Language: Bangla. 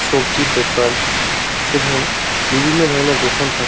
সবজির দোকান এবং বিভিন্ন ধরণের দোকান থাক --